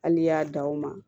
Hali n'i y'a dan o ma